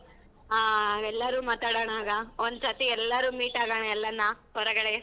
ಆ ಎಲ್ಲಾರೂ ಮಾತಾಡಣ ಆಗ ಒಂದ್ ಸತಿ ಎಲ್ಲರೂ meet ಆಗಣ ಎಲ್ಲಾನ ಹೊರಗಡೆ.